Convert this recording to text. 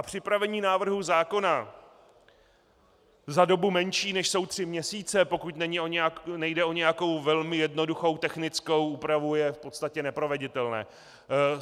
A připravení návrhu zákona za dobu menší než jsou tři měsíce, pokud nejde o nějakou velmi jednoduchou technickou úpravu, je v podstatě neproveditelné.